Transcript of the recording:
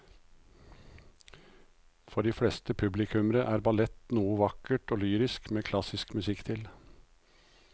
For de fleste publikummere er ballett noe vakkert og lyrisk med klassisk musikk til.